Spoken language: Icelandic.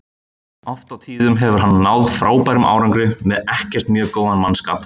Oft á tíðum hefur hann náð frábærum árangri með ekkert mjög góðan mannskap.